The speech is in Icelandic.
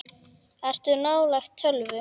Ertu nálægt tölvu?